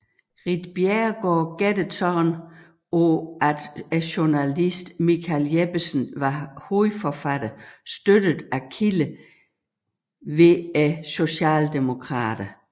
Ritt Bjerregaard gættede således på at journalisten Michael Jeppesen var hovedforfatteren støttet af kilder hos Socialdemokraterne